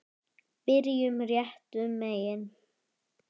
Byrjum réttum megin.